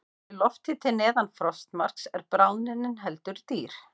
Sé lofthiti neðan frostmarks er bráðnunin heldur rýr.